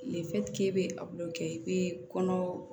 i bɛ kɛ i bɛ kɔnɔ